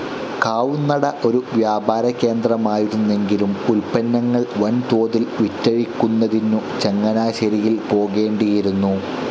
കാവുംന്നട ഒരു വ്യാപാരകേന്ദ്രമായിരുന്നെങ്കിലും ഉൽപന്നങ്ങൾ വൻതോതിൽ വിറ്റഴിക്കുന്നതിന്‌ ചങ്ങനാശേരിയിൽ പോകേണ്ടിയിരുന്നു.